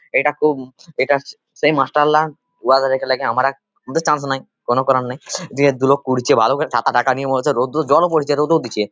এটা খুব এটা এটা সেই মাস্টার লা ওহা দেখা আমার আর কোন চান্স নাই |কোন কার নাই রোদ্দুর জল ও পড়ছে রোদ ও দিচ্ছে।